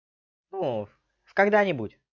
ну когда-нибудь